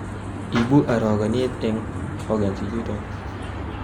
ibu arogenet en organs ichuton